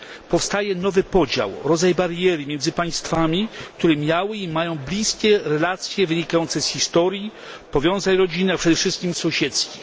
Powstaje nowy podział, rodzaj bariery między państwami, które miały i mają bliskie relacje wynikające z historii, powiązań rodzinnych, a przede wszystkim sąsiedzkich.